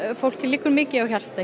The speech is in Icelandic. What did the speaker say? fólki liggur mikið á hjarta